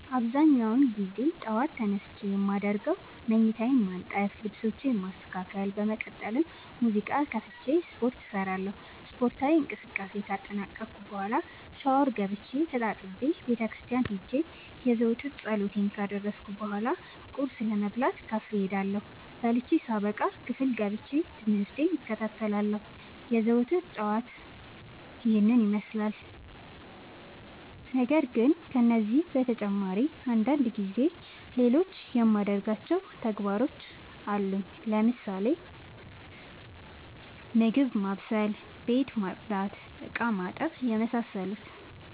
አብዛኛውን ግዜ ጠዎት ተነስቼ የማደርገው መኝታዬን ማነጠፍ ልብሶቼን ማስተካከል በመቀጠልም ሙዚቃ ከፍቼ ስፓርት እሰራለሁ ስፓርታዊ እንቅስቃሴን ካጠናቀቅኩ በኋ ሻውር ገብቼ ተጣጥቤ ቤተክርስቲያን ሄጄ የዘወትር ፀሎቴን ካደረስኩ በሏ ቁርስ ለመብላት ካፌ እሄዳለሁ። በልቼ ሳበቃ ክፍል ገብቼ። ትምህርቴን እከታተላለሁ። የዘወትር ጠዋቴ ይህን ይመስላል። ነገርግን ከነዚህ በተጨማሪ አንዳንድ ጊዜ ሌሎቹ የማደርጋቸው ተግባሮች አሉኝ ለምሳሌ፦ ምግብ ማብሰል፤ ቤት መፅዳት፤ እቃማጠብ የመሳሰሉት።